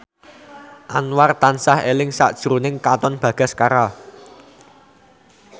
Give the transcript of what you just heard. Anwar tansah eling sakjroning Katon Bagaskara